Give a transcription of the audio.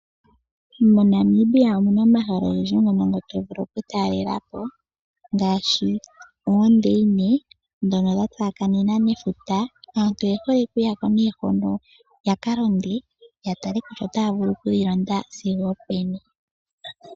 MoNamibia omuna omahala ogendji ngoka to vulu oku talelapo ngaashi oondeyine ndhono dha tsakanena nefuta. Aantu oye hole okuyako yakalonde yatale kutya otaya vulu kulonda sigo openi.